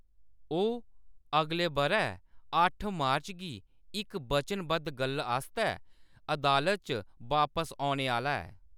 ओह्‌‌ अगले बʼरै अट्ठ मार्च गी इक वचनबद्ध गल्ल आस्तै अदालत च बापस औने आह्‌‌‌ला ऐ।